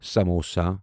samosa